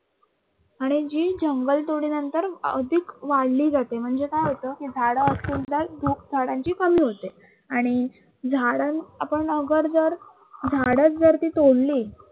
आणि हीच जंगल तोडीनंतर अधिक वाढली जाते, म्हणजे काय होतं कि झाडं असतील तर धूप झाडांची कमी होते आणि झाडं आपण अगर जर झाडच ती तोडली